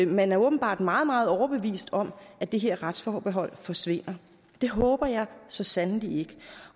man er åbenbart meget meget overbevist om at det her retsforbehold forsvinder det håber jeg så sandelig ikke